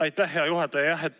Aitäh, hea juhataja!